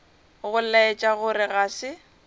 go laetša gore ga se